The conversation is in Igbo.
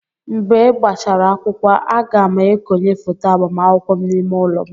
Mgbe gbachara akwụkwọ, a ga m ekonye foto agbamakwụkwọ m n'ime ụlọ m.